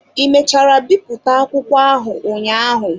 Ị mechara bipụta akwụkwọ ahụ ụnyaahụ.